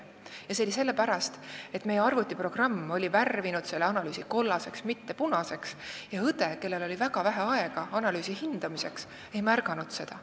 See juhtus sellepärast, et meie arvutiprogramm oli värvinud selle analüüsi kollaseks, mitte punaseks, ja õde, kellel oli väga vähe aega analüüsi hindamiseks, ei märganud seda.